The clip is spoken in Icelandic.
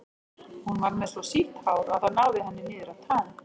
Hún var með svo sítt hár að það náði henni niður að tám.